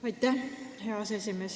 Aitäh, hea aseesimees!